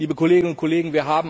Liebe Kolleginnen und Kollegen!